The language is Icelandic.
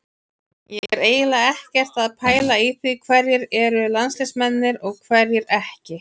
Ég er eiginlega ekkert að pæla í því hverjir eru landsliðsmenn og hverjir ekki.